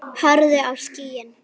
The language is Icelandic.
Horfðu á skýin.